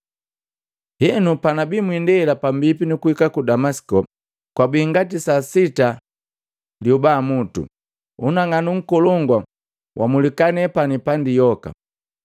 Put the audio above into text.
“Henu, panabi mwindela pambipi nukuhika ku Damasiko, kwabii ngati saa sita liobamutu, unang'anu nkolongu wamulika nepani pandi yoka.